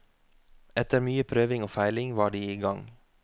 Etter mye prøving og feiling var de i gang.